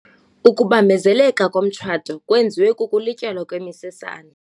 Ukubambezeleka komtshato kwenziwe kukulityalwa kwemisesane.